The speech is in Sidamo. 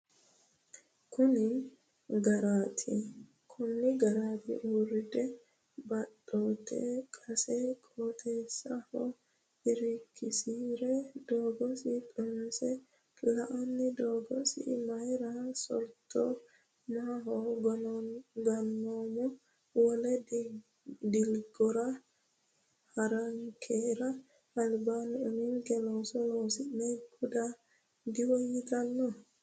Kuni garaati? Urde baattote qase qoteho irkisi’re Doogiso xunse la”anni Doogiso Mayra so’ratto maaho Gonnama? Wole dilgora ha’rankera albaanni uminke looso loonse guda diwoyyitanno?